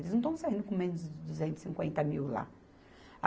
Eles não estão saindo com menos de duzentos e cinquenta mil lá.